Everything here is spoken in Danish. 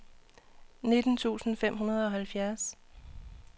nitten tusind fem hundrede og halvfjerds